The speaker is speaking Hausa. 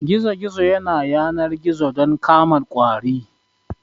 Gizo gizo yana yanar gizo don kama ƙwari